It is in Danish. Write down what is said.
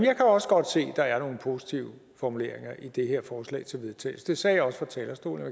jeg kan også godt se der er nogle positive formuleringer i det her forslag til vedtagelse det sagde jeg også fra talerstolen